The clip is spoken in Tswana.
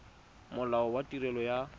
molao wa tirelo ya set